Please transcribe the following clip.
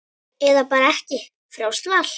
Eða bara ekki, frjálst val.